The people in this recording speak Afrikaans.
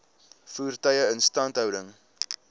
voertuie instandhouding